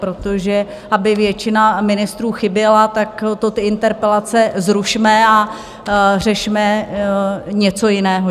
Protože aby většina ministrů chyběla, tak to ty interpelace zrušme a řešme něco jiného.